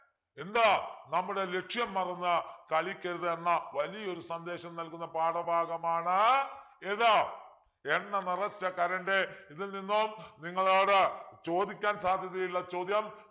എന്താ നമ്മുടെ ലക്ഷ്യം മറന്നു കളിക്കരുതെന്ന വലിയൊരു സന്ദേശം നൽകുന്ന പാഠഭാഗമാണ് ഏത് എണ്ണ നിറച്ച കരണ്ടി ഇതിൽ നിന്നും നിങ്ങളോട് ചോദിക്കാൻ സാധ്യതയുള്ള ചോദ്യം